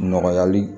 Nɔgɔyali